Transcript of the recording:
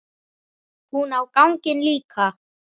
Hún á ganginn líka.